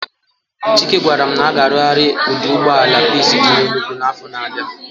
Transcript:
Chike gwaram na a ga arughari oduugboala peace di na Enugwu na afo na abia